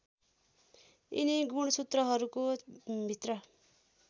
यिनी गुणसूत्रहरूको भित्र